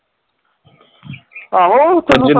ਆਹੋ